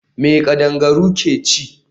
Me kadangaru ke ci?